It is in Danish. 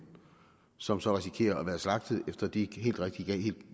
som så risikerer at være slagtet efter de